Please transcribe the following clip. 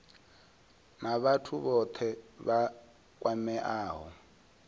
na vhathu vhothe vha kwameaho